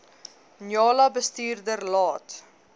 njala bestuurder laat